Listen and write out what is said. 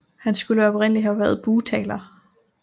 Han skulle oprindeligt have været bugtaler